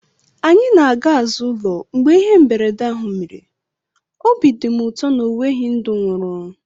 Anyị na-aga azụ ụlọ mgbe ihe mberede ahụ mere, obi dị m ụtọ na ọ nweghị ndụ nwụrụ